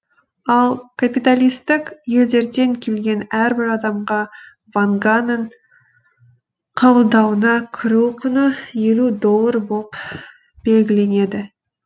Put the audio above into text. ал капиталистік елдерден келген әрбір адамға ванганың қабылдауына кіру құны елу доллар боп белгіленеді